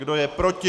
Kdo je proti?